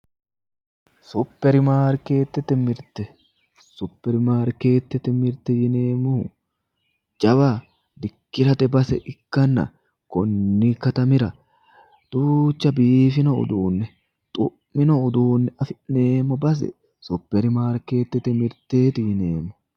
Supermarketete mirte supermarketete mirte yineemmohu jawa dikkirate base ikkanna konni katamira duucha biifanno uduunne xu'mino uduunne afi'neemmo base supermarketete miteeti yineemmo.